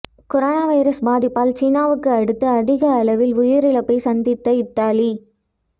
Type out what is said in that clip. corona virus பாதிப்பால் சீனாவுக்கு அடுத்து அதிக அளவில் உயிரிழப்பை சந்தித்த இத்தாலி